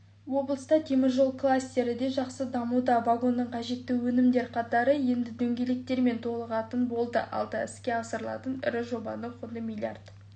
облыста теміржол кластері де жақсы дамуда вагонға қажетті өнімдер қатары енді дөңгелектермен толығатын болды алда іске асырылатын ірі жобаның құны миллииард